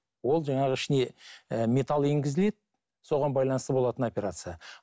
ол жаңағы ішіне ііі метал енгізіледі соған байланысты болатын операция